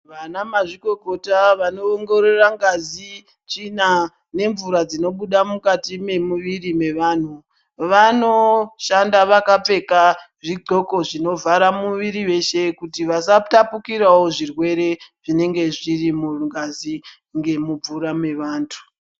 Vanamazvikokota vanoongorora ngazi, tsvina nemvura dzinobuda mukati memumuviri mevanhu, vanoshanda vakapfeka zvidhxoko zvinovhara muviriri weshe kuti vasatapukirawo zvirwere, zvinenge zviri mungazi ngemumvura mevantu.